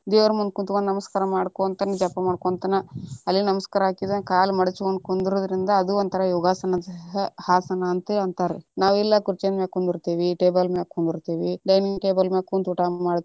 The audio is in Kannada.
ದೇವರ ಮುಂದ ಕೂತ್ಕೊಂಡ ನಮಸ್ಕಾರ ಮಾಡಕೊಂತನ ಜಪಾ ಮಾಡ್ಕೊಂತನ, ಅಲ್ಲೇ ನಮಸ್ಕಾರ ಹಾಕಿದ್ವಿ ಅಂದ್ರ ಕಾಲ ಮಾಡಚ್ಕೊಂಡ ಕುಂಡ್ರುದರಿಂದ ಅದು ಒಂದ ಯೋಗಾಸನ ಯೋಗಾಸನದೇ ಆಸನ ಅಂತ ಅಂತರಿ ನಾವ ಇಲ್ಲಾ ಕುರಚೆ ಮ್ಯಾಲೆ ಕುಂದ್ರಂತೇವಿ table ಮ್ಯಾಲೆ ಕುಂದ್ರಂತೇವಿ dining table ಮ್ಯಾಲೆ ಕುಂತ ಊಟಾ ಮಾಡ್ತೇವಿ.